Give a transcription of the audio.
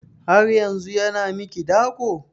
Har yanzun yana miki dako?